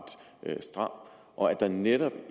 stram og at der netop